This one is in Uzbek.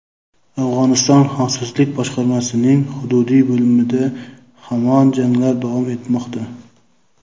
Afg‘oniston xavfsizlik boshqarmasining hududiy bo‘limida hamon janglar davom etmoqda.